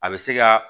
A bɛ se ka